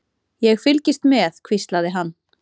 Ég fylgist með, hvíslaði hann.